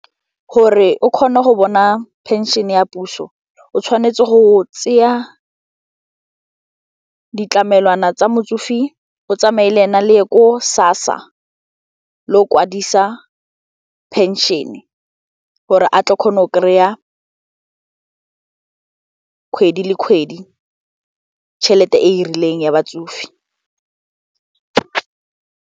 Gore o kgone go bona pension ya puso o tshwanetse go tseya ditlamelwana tsa motsofe o tsamaye le ena le ye ko SASSA le o kwadisa pension gore a tla kgona go kry-a kgwedi le kgwedi tšhelete e e rileng ya batsofe.